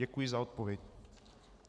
Děkuji za odpověď.